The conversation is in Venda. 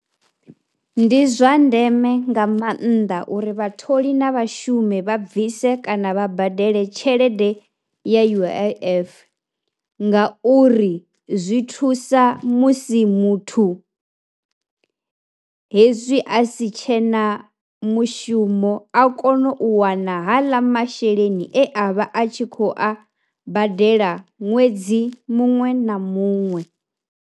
Ndi zwa ndeme nga maanḓa uri vhatholi na vhashumi vha bvise kana vha badele tshelede ya U_I_F nga uri zwi thusa musi muthu hezwi a si tshena mushumo a kone u wana haḽa masheleni e a vha a tshi khou a badela ṅwedzi muṅwe na muṅwe.